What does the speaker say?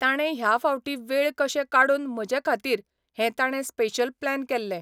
ताणें ह्या फावटीं वेळ कशे काडून म्हजे खातीर हे ताणें स्पेशल प्लेन केल्लें.